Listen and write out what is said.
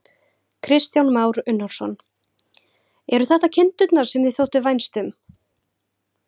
Kristján Már Unnarsson: Eru þetta kindurnar sem þér þótti vænst um?